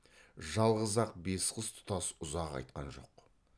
жалғыз ақ бес қыз тұтас ұзақ айтқан жоқ